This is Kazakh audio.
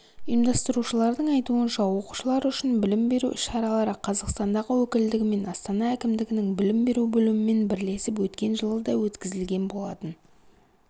ұйымдастырушылардың айтуынша оқушылар үшін білім беру іс-шаралары қазақстандағы өкілдігімен астана әкімдігінің білім беру бөлімімен бірлесіп өткен жылы да өткізілген болатын